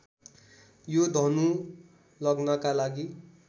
यो धनु लग्नका लागि